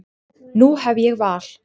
Nú hef ég val.